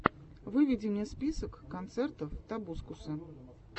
выведи мне список концертов тобускуса